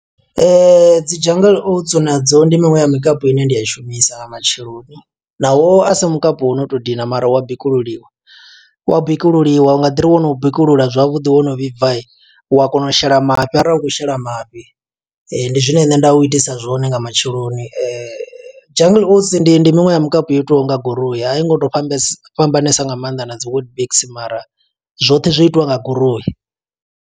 Dzi jungle oats na dzo ndi miṅwe ya mikapu ine ndi a shumisa nga matsheloni, naho asi mukapi wo no to dina mara u wa bikululiwa. Wa bikululiwa u nga ḓi ri wono u bikulula zwavhuḓi wono vhibva, wa kona u shela mafhi arali u khou shela mafhi. Ndi zwine nṋe nda u itisa zwone nga matsheloni. Jungle oats ndi ndi miṅwe ya mikapu yo itiwaho nga goroi, a i ngo to fhambase, fhambanesa nga maanḓa na dzi witbix mara zwoṱhe zwo itiwa nga goroi.